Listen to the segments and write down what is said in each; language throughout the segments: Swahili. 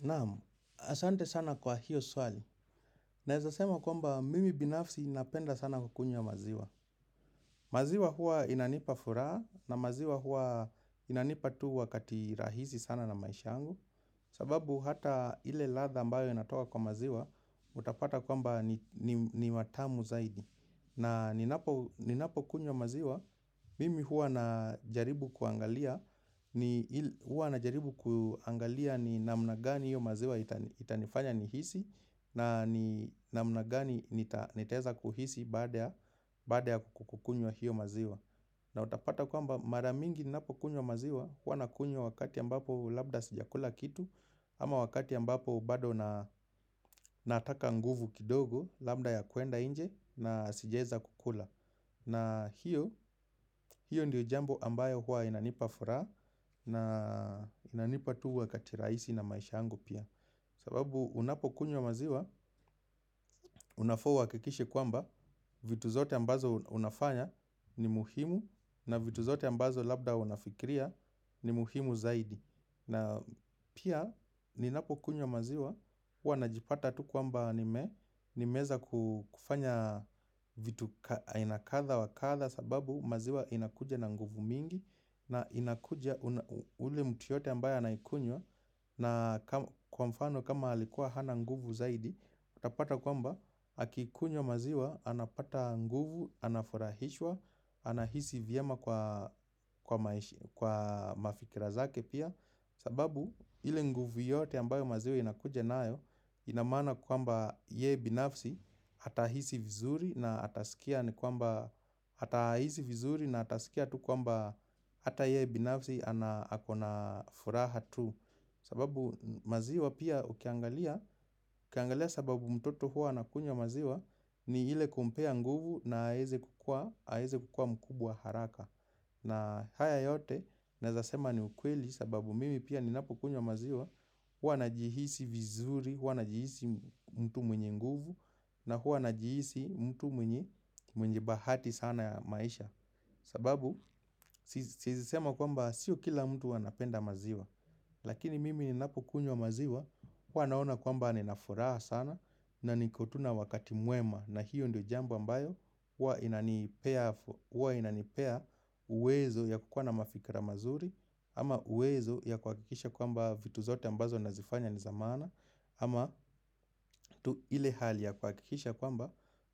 Naamu, asante sana kwa hiyo swali. Naezasema kwamba mimi binafsi napenda sana kukunywa maziwa. Maziwa hua inanipa furaa na maziwa hua inanipa tu wakati rahisi sana na maisha angu. Sababu hata ile ladha ambayo natoa kwa maziwa, utapata kwamba ni matamu zaidi. Na ninapo kunywa maziwa, mimi huwa najaribu kuangalia ni namna gani hiyo maziwa itanifanya nihisi na namna gani nitaeza kuhisi baada ya kukukunywa hiyo maziwa. Na utapata kwamba maramingi napo kunywa maziwa, hua nakunywa wakati ambapo labda sijakula kitu Ama wakati ambapo bado nataka nguvu kidogo, labda ya kuenda nje na sijaeza kukula na hiyo, hiyo ndiyo jambo ambayo hua inanipa furaha na inanipa tu wakati rahisi na maisha yangu pia sababu unapo kunywa maziwa, unafaa uwakikishe kwamba, vitu zote ambazo unafanya ni muhimu na vitu zote ambazo labda unafikiria ni muhimu zaidi. Na pia, ninapo kunywa maziwa, huwa najipata tu kwamba nimeeza kufanya vitu aina kadha wakadha sababu maziwa inakuja na nguvu mingi na inakuja ule mtu yote ambayo anaikunywa na kwa mfano kama alikuwa hana nguvu zaidi utapata kwamba akikunywa maziwa anapata nguvu, anafurahishwa anahisi vyema kwa mafikira zake pia sababu ile nguvu yote ambayo maziwa inakuja nayo inamaana kwamba yeye binafsi atahisi vizuri na atasikia ni kwamba hata hisi vizuri na atasikia tu kwamba hata ye binafsi ako na furaha tu. Sababu maziwa pia ukiangalia, ukiangalia sababu mtoto huwa anakunywa maziwa ni ile kumpea nguvu na aweze kukua mkubwa haraka. Na haya yote, naeza sema ni ukweli sababu mimi pia ninapo kunywa maziwa, hua najihisi vizuri, hua najihisi mtu mwenye nguvu, na huwa najiisi mtu mwenye bahati sana ya maisha sababu, siezi sema kwamba sio kila mtu anapenda maziwa Lakini mimi ninapo kunywa maziwa huwa naona kwamba ninafuraha sana na nikotu na wakati mwema na hiyo ndio jambo ambayo huwa inanipea uwezo ya kukwana mafikra mazuri Ama uwezo ya kuwakikisha kwamba vitu zote ambazo nazifanya ni za maana Ama tu ile hali ya kuwakikisha kwamba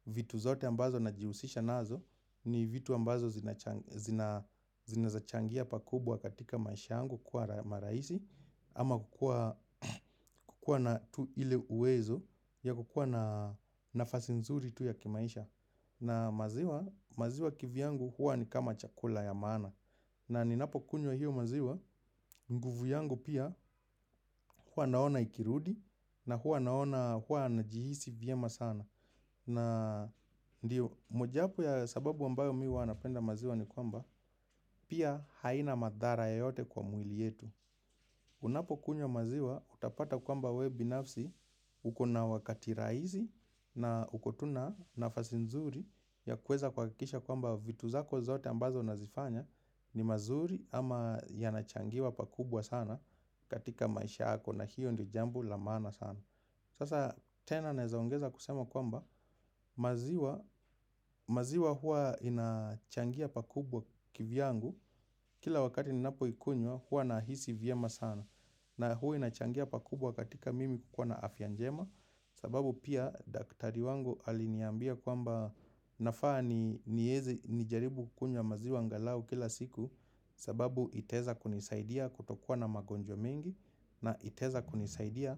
vitu zote ambazo najihusisha nazo ni vitu ambazo zinaezachangia pakubwa katika maisha yangu kwa marahisi Ama kukua na tu ile uwezo ya kukua na nafasi nzuri tu ya kimaisha na maziwa kivyangu huwa ni kama chakula ya maana na ninapo kunywa hiyo maziwa, nguvu yangu pia huwa naona ikirudi na huwa naona huwa najihisi vyema sana na ndiyo, moja wapo ya sababu ambayo mimi huwa napenda maziwa ni kwamba, pia haina madhara yeyote kwa mwili yetu. Unapo kunywa maziwa, utapata kwamba wewe binafsi, uko na wakati rahisi na uko tu na nafasi nzuri ya kuweza kuakikisha kwamba vitu zako zote ambazo unazifanya ni mazuri ama yanachangiwa pakubwa sana katika maisha yako na hiyo ndio jambo la maana sana. Sasa tena naezaongeza kusema kwamba maziwa hua inachangia pakubwa kivyangu kila wakati ninapo ikunywa huwa nahisi vyema sana na huwa inachangia pakubwa katika mimi kukua na afya njema sababu pia daktari wangu aliniambia kwamba nafaa niieze nijaribu kukunywa maziwa angalau kila siku sababu itaeza kunisaidia kutokuwa na magonjwa mengi na itaeza kunisaidia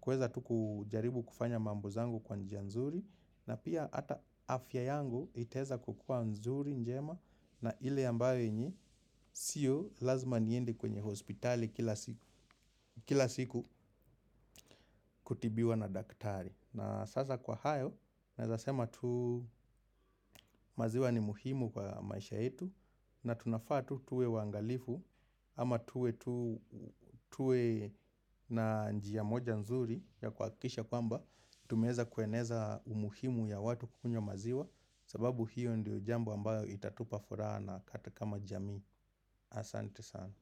kuweza tuku jaribu kufanya mambo zangu kwa njia nzuri na pia hata afya yangu itaeza kukua nzuri njema na ile ambaayo yenye sio lazima niendi kwenye hospitali kila siku kutibiwa na daktari na sasa kwa hayo naeza sema tu maziwa ni muhimu kwa maisha yetu na tunafaa tu tuwe waangalifu ama tuwe tuwe na njia moja nzuri ya kuwakikisha kwamba Tumeeza kueneza umuhimu ya watu kukunywa maziwa sababu hiyo ndiyo jambo ambayo itatupa furaha nakaa tu kama jamii Asante sana.